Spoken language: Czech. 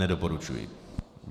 Nedoporučuji.